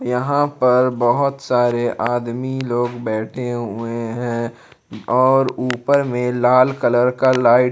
यहा पर बहुत सारे आदमी लोग बैठे हुए है और ऊपर में लाल कलर का लाई--